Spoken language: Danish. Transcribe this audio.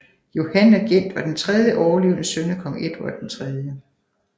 Johan of Gent var den tredje overlevende søn af kong Edvard 3